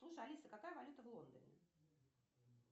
слушай алиса какая валюта в лондоне